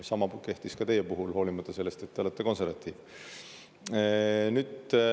Sama kehtis ka teie puhul, hoolimata sellest, et te olete konservatiiv.